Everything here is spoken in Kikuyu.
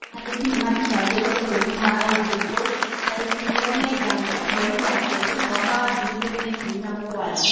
Andĩki nĩmathitangĩtwo bũrũri-inĩ wa Ivory Coast tarĩki ikũmi na ithano mweri wa kerĩ mwaka wa ngiri igĩri na ikũmi na mũgwanja